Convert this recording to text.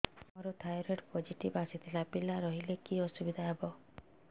ସାର ମୋର thyroid positive ଆସିଥିଲା ପିଲା ରହିଲେ କି ଅସୁବିଧା ହେବ